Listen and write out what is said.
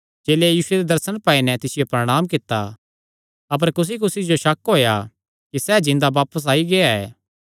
चेलेयां यीशुये दे दर्शन पाई नैं तिसियो प्रणांम कित्ता अपर कुसीकुसी जो शक होएया कि सैह़ जिन्दा बापस आई गेआ